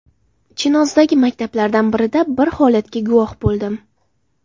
Chinozdagi maktablardan birida bir holatga guvoh bo‘ldim.